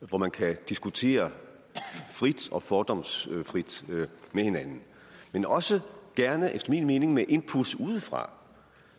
hvor man kan diskutere frit og fordomsfrit med hinanden men også gerne efter min mening med input udefra